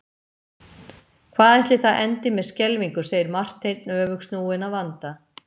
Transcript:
Hvað ætli það endi með skelfingu segir Marteinn öfugsnúinn að vanda.